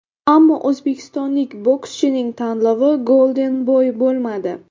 Ammo o‘zbekistonlik bokschining tanlovi Golden Boy bo‘lmadi.